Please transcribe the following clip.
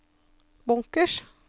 bunkers